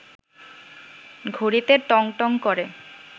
ঘড়িতে টং টং করে